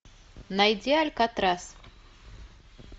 найди алькатрас